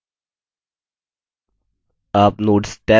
आप notes tab notes tab पर भी click कर सकते हैं